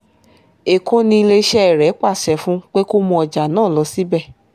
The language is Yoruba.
èkó ni iléeṣẹ́ rẹ̀ pàṣẹ fún pé kó mú ọjà náà lọ síbẹ̀